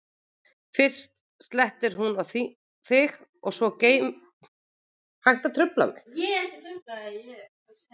fyrst slettir hún á þig og svo gleymir hún brauðinu, sagði hann.